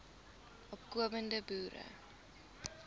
opko mende boere